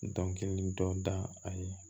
Dɔnkili dɔ da a ye